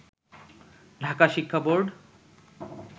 ঢাকা শিক্ষা বোর্ড